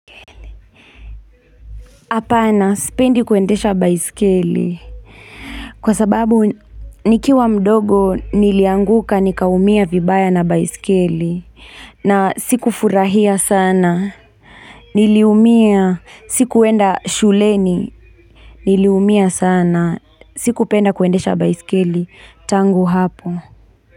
Hapana, sipendi kuendesha baisikeli. Kwa sababu, nikiwa mdogo, nilianguka, nikaumia vibaya na baisikeli. Na siku furahia sana. Niliumia, sikuenda shuleni. Niliumia sana, sikupenda kuendesha baisikeli. Tangu hapo.